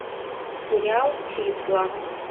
сериал числа